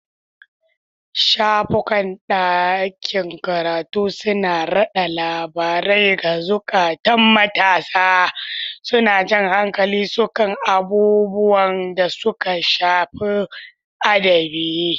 Shafukan ɗakin karatu suna rada labarai ga zukatan matasa, suna jan hankalin su kan abubuwan da suka shafi adabi.